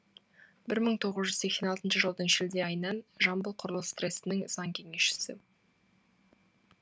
бір мың тоғыз жүз сексен алтыншы жылдың шілде айынан жамбылқұрылыс трестінің заң кеңесшісі